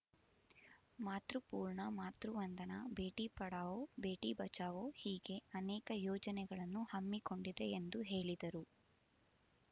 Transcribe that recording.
ಮಾತೃಪೂರ್ಣ ಮಾತೃವಂದನಾ ಭೇಟಿ ಪಡಾವೋ ಭೇಟಿ ಬಚಾವೋ ಹೀಗೆ ಅನೇಕ ಯೋಜನೆಗಳನ್ನು ಹಮ್ಮಿಕೊಂಡಿದೆ ಎಂದು ಹೇಳಿದರು